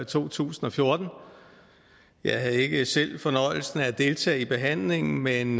to tusind og fjorten jeg havde ikke selv fornøjelsen af at deltage i behandlingen men